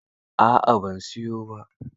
A'a ban siyo ba.